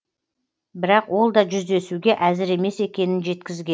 бірақ ол да жүздесуге әзір емес екенін жеткізген